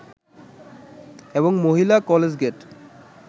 এবং মহিলা college gate